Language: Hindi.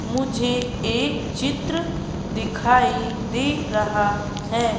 मुझे एक चित्र दिखाई दे रहा है।